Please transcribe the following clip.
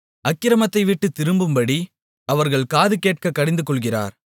அக்கிரமத்தைவிட்டுத் திரும்பும்படி அவர்கள் காது கேட்க கடிந்துகொள்ளுகிறார்